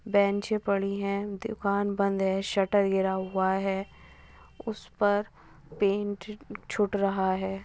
बेंचे पड़ी है। दुकान बंद है। शटर गिरा हुआ है। उस पर पेंट छूट रहा है।